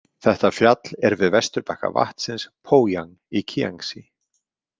Þetta fjall er við vesturbakka vatnsins Pójang í Kíangsí.